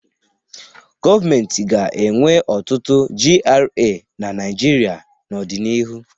Gọọmentị ga-enwe ọtụtụ GRA na Naịjirịa n'ọdịnihu.